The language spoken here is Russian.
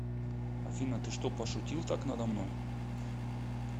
афина ты что пошутил так надо мной